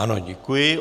Ano, děkuji.